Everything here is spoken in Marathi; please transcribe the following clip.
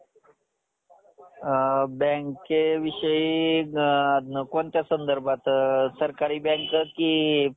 अ bank विषयी अ कोणत्या संदर्भात सरकारी bank की private